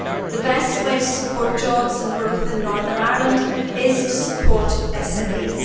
The best way to support jobs and growth in Northern Ireland is to support SMEs.